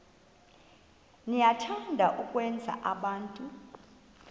niyathanda ukwenza abantu